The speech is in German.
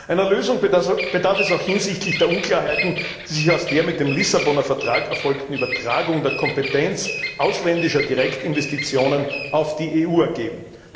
Einer Lösung bedarf es auch hinsichtlich der Unklarheiten, die sich aus der mit dem Vertrag von Lissabon erfolgten Übertragung der Kompetenz ausländischer Direktinvestitionen auf die EU ergeben.